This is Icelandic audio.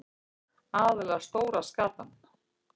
Aðallega stóra skatan.